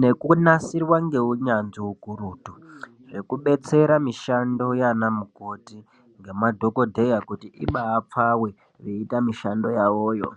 nekunasirwa ngeunyanzvi ukurutu zvekubetsera mishando yana mukoti ngemadhokodheya kuti ibapfabe veita mishando yavoyo.